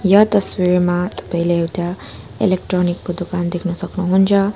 यस तस्बिरमा तपाईँले एउटा इलेक्ट्रोनिक को दोकान देख्न सक्नुहुन्छ।